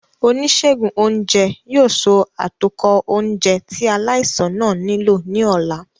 Onisegun ounjẹ yoo so atokọ ounjẹ ti alaisan naa nilo ni ọla.